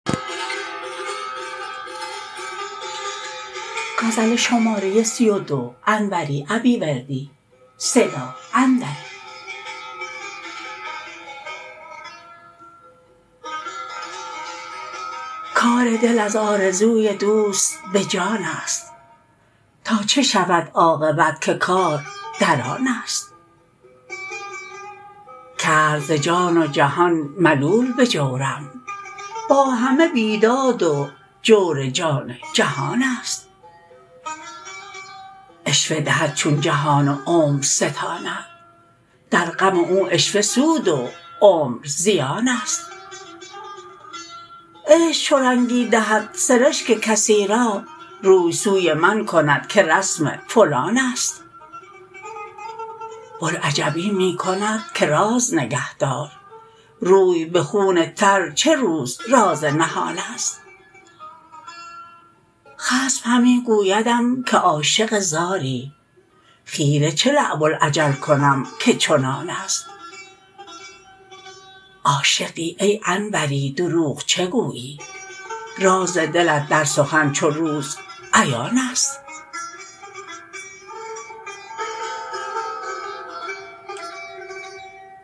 کار دل از آرزوی دوست به جانست تا چه شود عاقبت که کار در آنست کرد ز جان و جهان ملول به جورم با همه بیداد و جور جان جهانست عشوه دهد چون جهان و عمر ستاند در غم او عشوه سود و عمر زیانست عشق چو رنگی دهد سرشک کسی را روی سوی من کند که رسم فلانست بلعجبی می کند که راز نگهدار روی به خون تر چه روز راز نهانست خصم همی گویدم که عاشق زاری خیره چه لعب الخجل کنم که چنانست عاشقی ای انوری دروغ چگویی راز دلت در سخن چو روز عیانست